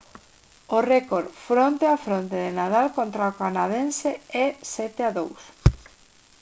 o récord fronte a fronte de nadal contra o canadense é 7-2